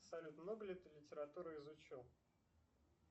салют много ли ты литературы изучил